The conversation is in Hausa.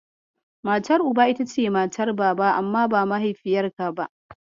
Matar Uba ita ce matar Baba amma ba mahaifiyarka ba.